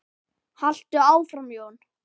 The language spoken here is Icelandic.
Haltu áfram Jón!